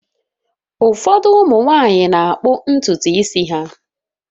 Ụfọdụ ụmụ nwanyị na-akpọ ntutu isi ha.